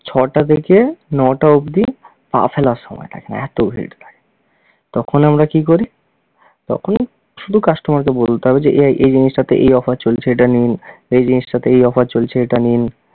ছ'টা থেকে ন'টা অব্দি পা ফেলার সময় থাকে না, এত ভিড় থাকে। তখনে আমরা কী করি? তখন শুধু customer কে বলতে হবে যে এই এই জিনিসটাতে এই offer চলছে এটা নিন, এই জিনিসটাতে এই offer চলছে এটা নিন।